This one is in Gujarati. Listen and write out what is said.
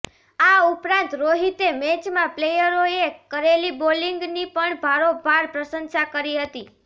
આ ઉપરાંત રોહિતે મૅચમાં પ્લેયરોએ કરેલી બોલિંગની પણ ભારોભાર પ્રશંસા કરી હતી